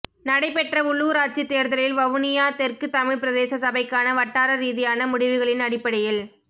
நடைபெற்ற உள்ளூராட்சி தேர்தலில் வவுனியா தெற்கு தமிழ் பிரதேச சபைக்கான வட்டார ரீதியான முடிவுகளின் அடிப்படையில்